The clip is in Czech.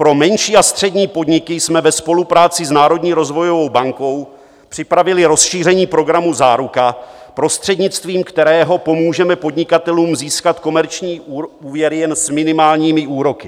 Pro menší a střední podniky jsme ve spolupráci s Národní rozvojovou bankou připravili rozšíření programu Záruka, prostřednictvím kterého pomůžeme podnikatelům získat komerční úvěry jen s minimálními úroky.